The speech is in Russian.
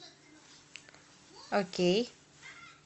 окей